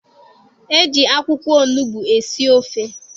E ji akwụkwọ onugbu esi ofe.